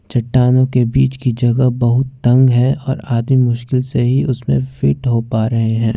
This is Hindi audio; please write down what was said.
चट्टानों के बीच की जगह बहुत तंग है और आदमी मुश्किल से ही उसमें फिट हो पा रहे हैं।